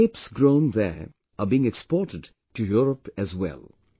Now grapes grown there are being exported to Europe as well